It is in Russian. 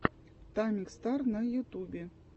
тамик стар на ютубе